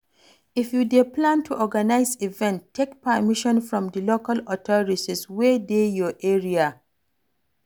If you dey plan to organise event, take permission from di local authorities wey dey your area